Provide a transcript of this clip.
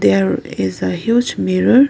there is uh huge mirror.